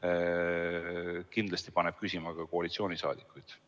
paneb kindlasti küsimusi esitama ka koalitsiooniliikmed.